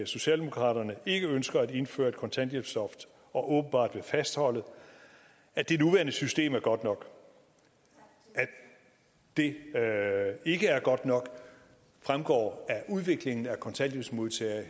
socialdemokraterne ikke ønsker at indføre et kontanthjælpsloft og åbenbart vil fastholde at det nuværende system er godt nok at det ikke er godt nok fremgår af udviklingen i antallet af kontanthjælpsmodtagere